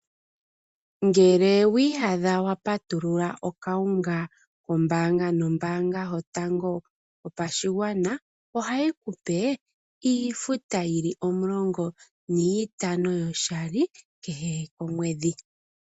Ngele wiiyadha wa patulula okambo komapungulilo nombaanga yotango yopashigwana ohaye kupe iifuta yili omulongo niitano yoshali kehe komwedhi.